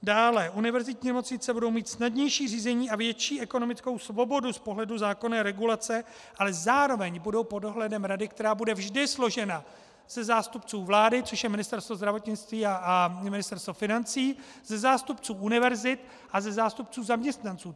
Dále, univerzitní nemocnice budou mít snadnější řízení a větší ekonomickou svobodu z pohledu zákonné regulace, ale zároveň budou pod dohledem rady, která bude vždy složena ze zástupců vlády, což je Ministerstvo zdravotnictví a Ministerstvo financí, ze zástupců univerzit a ze zástupců zaměstnanců.